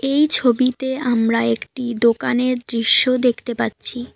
এই ছবিতে আমরা একটি দোকানের দৃশ্য দেখতে পাচ্ছি।